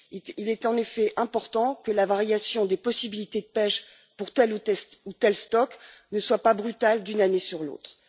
Il est en effet important que la fluctuation des possibilités de pêche pour tel ou tel stock ne soit pas brutale d'une année sur l'autre.